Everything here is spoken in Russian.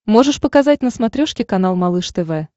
можешь показать на смотрешке канал малыш тв